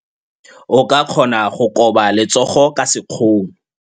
O ka kgona go koba letsogo ka sekgono.